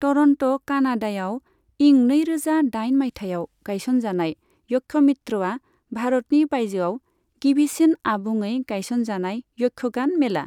Toronto, कानाडायाव इं नैरोजा दाइन माइथायाव गायसनजानाय यक्षमित्रआ भारतनि बायजोआव गिबिसिन आबुङै गायसनजानाय यक्षगान मेला।